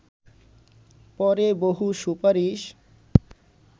পরে বহু সুপারিশ